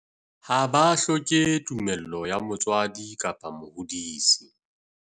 Ha ba hloke tumello ya motswadi kapa mohodisi.